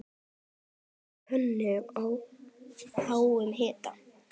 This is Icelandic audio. Hitið pönnu á háum hita.